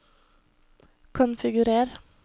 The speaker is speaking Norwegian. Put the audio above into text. konfigurer